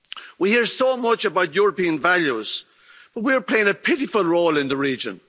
We hear so much about European values, but we are playing a pitiful role in the region.